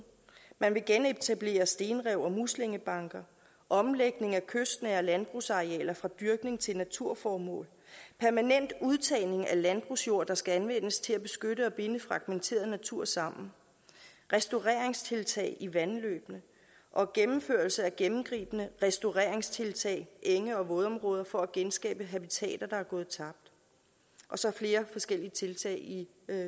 man vil genetablere stenrev og muslingebanker omlægning af kystnære landbrugsarealer fra dyrkning til naturformål permanent udtagning af landbrugsjord der skal anvendes til at beskytte og binde fragmenteret natur sammen restaureringstiltag i vandløbene og gennemførelse af gennemgribende restaureringstiltag enge og vådområder for at genskabe habitater der er gået tabt og så flere forskellige tiltag i